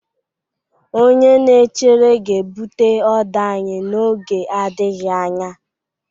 Onye na-echere ga-ebute oder anyị n'oge adịghị anya